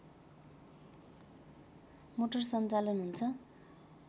motor सञ्चालन हुन्छ